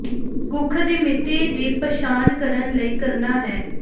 ਕੁੱਖ ਦੀ ਮਿਤੀ ਦੀ ਪਛਾਣ ਕਰਨ ਲਈ ਕਰਨਾ ਹੈ